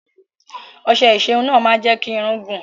Ọṣẹ ìṣerun náà máa ń jẹ́ kí irun gùn.